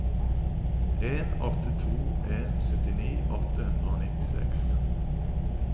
en åtte to en syttini åtte hundre og nittiseks